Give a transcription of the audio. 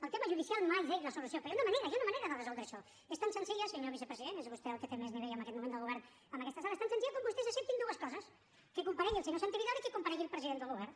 el tema judicial mai és la solució però hi ha una manera hi ha una manera de resoldre això i és tan senzilla senyor vicepresident és vostè el que té més nivell en aquest moment del govern en aquesta sala com que vostès acceptin dues coses que comparegui el senyor santi vidal i que comparegui el president del govern